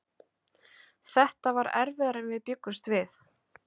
Þetta var erfiðara en við bjuggumst við.